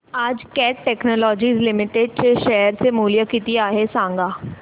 आज Cat Technologies Limited चे share चे मूल्य किती आहे सांगा